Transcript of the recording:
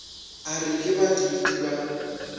a re ke badiidi ba